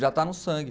Já está no sangue.